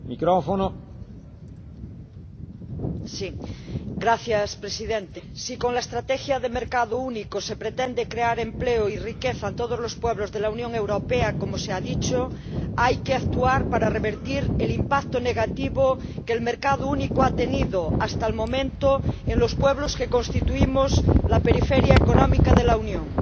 Señor Presidente, si con la estrategia de mercado único se pretende crear empleo y riqueza en todos los pueblos de la Unión Europea —como se ha dicho—, hay que actuar para revertir el impacto negativo que el mercado único ha tenido, hasta el momento, en los pueblos que constituimos la periferia económica de la Unión,